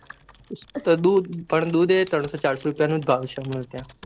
દૂધ પણ દૂધ ત્રણસો ચારસો રૂપિયા નો ભાવ છે ત્યાં